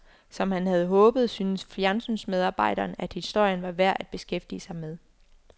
Som han havde håbet, syntes fjernsynsmedarbejderen at historien var værd at beskæftige sig med.